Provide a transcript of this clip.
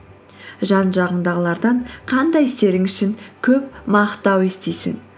жан жағыңдағылардан қандай істерің үшін көп мақтау естисің